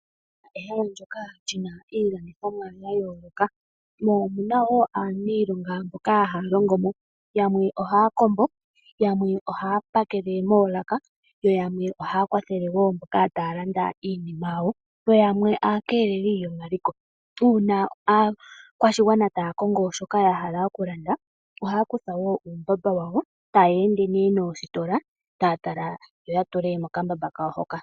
Ehala ndyoka hali landitha iilandithomwa ya yooloka mo omuna wo aaniilonga mboka haya longo mo yamwe ohaya kombo, yamwe ohaya pakele moolaka nayamwe ohaya kwathele mboka taya landa iinima yawo yo yamwe aakeeleli yomaliko. Uuna akwashigwana taya kongo shoka ya hala oku landa ohaya kutha uumbamba wawo tayeende nositola yo ya tule mokambamba kawo hoka.